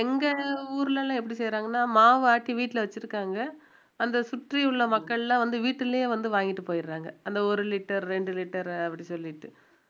எங்க ஊர்ல எல்லாம் எப்படி செய்யறாங்கன்னா மாவ ஆட்டி வீட்டுல வச்சிருக்காங்க அந்த சுற்றியுள்ள மக்கள்லாம் வந்து வீட்டிலேயே வந்து வாங்கிட்டு போயிடறாங்க அந்த ஒரு litre ரெண்டு litre அப்படி சொல்லிட்டு